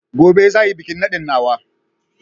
Gobe za a yi bikin nadin nawa